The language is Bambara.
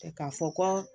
K'a fɔ ko